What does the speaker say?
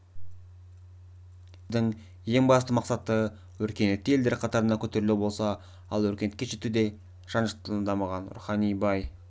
егеменді еліміздің ең басты мақсаты өркениетті елдер қатарына көтерілу болса ал өркениетке жетуде жан-жақты дамыған рухани бай